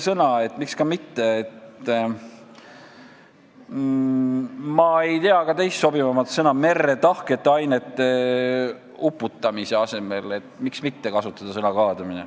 Ma ei tea ka ühtegi sobivamat eestikeelset sõna merre tahkete ainete uputamise kohta, nii et miks mitte kasutada sõna "kaadamine".